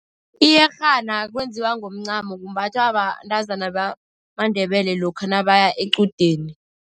Iyerhana kwenziwa ngomncamo, kumbathwa bentazana bamaNdebele lokha nabaya equdeni.